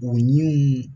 O ɲininiw